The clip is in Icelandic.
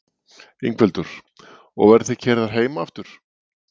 Ingveldur: Og verðið þið keyrðar heim aftur?